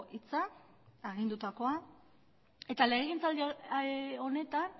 hitza eta legegintzaldi honetan